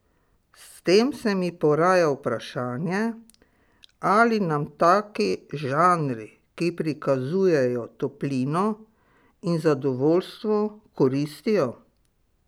S tem se mi poraja vprašanje, ali nam taki žanri, ki prikazujejo toplino in zadovoljstvo, koristijo?